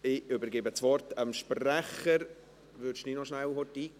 Ich übergebe das Wort dem Sprecher der vorberatenden Kommission, Peter Sommer.